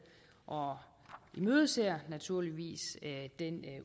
og imødeser naturligvis den